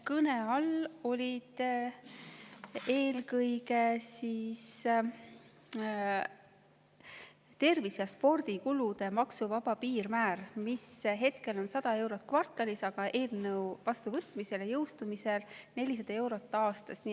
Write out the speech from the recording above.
Kõne all oli eelkõige tervise- ja spordikulude maksuvaba piirmäär, mis hetkel on 100 eurot kvartalis, aga eelnõu vastuvõtmisel ja jõustumisel 400 eurot aastas.